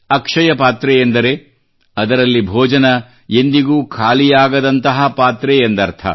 ಅಕ್ಷಯ ಪಾತ್ರೆ ಅಂದರೆ ಅದರಲ್ಲಿ ಭೋಜನ ಎಂದಿಗೂ ಖಾಲಿಯಾಗದಂತಹ ಪಾತ್ರೆ ಎಂದರ್ಥ